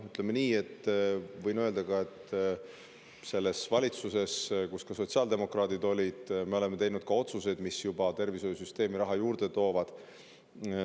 Võin öelda, et selles valitsuses, kus ka sotsiaaldemokraadid olid, me juba tegime otsuseid, mis tervishoiusüsteemi raha juurde toovad.